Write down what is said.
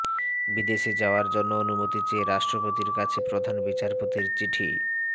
বিদেশে যাওয়ার জন্য অনুমতি চেয়ে রাষ্ট্রপতির কাছে প্রধান বিচারপতির চিঠি